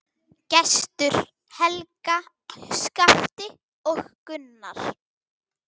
Gestur, Helga, Skafti og Gunnar.